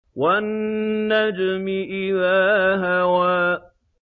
وَالنَّجْمِ إِذَا هَوَىٰ